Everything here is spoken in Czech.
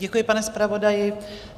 Děkuji, pane zpravodaji.